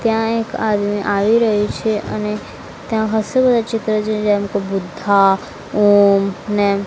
ત્યાં એક આદમી આવી રહી છે અને ત્યાં હસા બધા ચિત્ર છે જેમકે બુદ્ધા ઓમ ને--